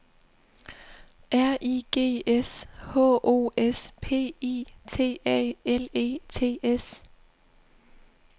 R I G S H O S P I T A L E T S